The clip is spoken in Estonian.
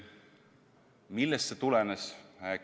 Millest see tulenes?